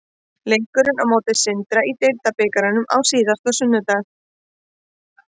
Leikurinn á móti Sindra í deildarbikarnum á síðasta sunnudag.